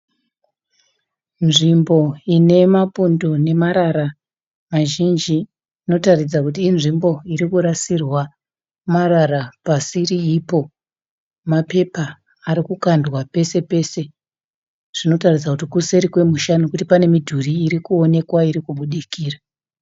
Nzvimbo ine mapundo nemarara mazhinji inotaridza kuti inzvimbo irikurasirwa marara pasiriipo. Mapepa arikukandwa pesepese zvinotaridza kuti kuseri kwemusha nokuti kune mudhurii irikuonekwa iri kubudikira.